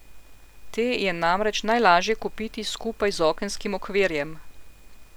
Te je namreč najlažje kupiti skupaj z okenskim okvirjem.